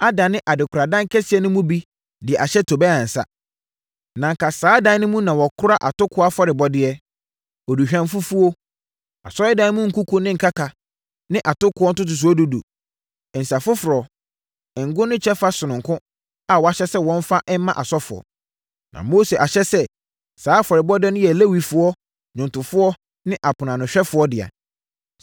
adane adekoradan kɛseɛ no bi mu de ahyɛ Tobia nsa. Na anka saa dan no mu na wɔkora atokoɔ afɔrebɔdeɛ, aduhwamfufuo, Asɔredan no nkuku ne nkaka ne atokoɔ ntotosoɔ dudu, nsã foforɔ, ngo ne kyɛfa sononko a wɔahyɛ sɛ wɔmfa mma asɔfoɔ. Na Mose ahyɛ sɛ saa afɔrebɔdeɛ no yɛ Lewifoɔ, nnwomtofoɔ ne aponoanohwɛfoɔ dea.